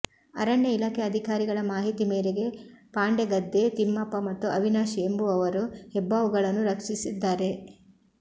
ಅರಣ್ಯ ಇಲಾಖೆ ಅಧಿಕಾರಿಗಳ ಮಾಹಿತಿ ಮೇರೆಗೆ ಪಾಂಡೆಗದ್ದೆ ತಿಮ್ಮಪ್ಪ ಮತ್ತು ಅವಿನಾಶ್ ಎಂಬುವವರು ಹೆಬ್ಬಾವುಗಳನ್ನು ರಕ್ಷಿಸಿದ್ದಾರೆ